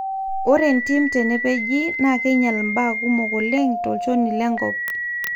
ore entim tenepeji naa keinyal mbaa kumok oleng tolchoni le nkop